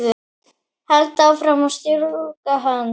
Held áfram að strjúka hönd